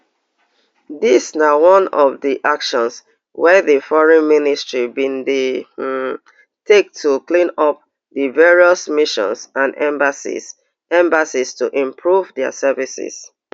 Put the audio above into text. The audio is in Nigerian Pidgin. dis na one of di actions wey di foreign ministry bin dey um take to clean up di various missions and embassies embassies to improve dia services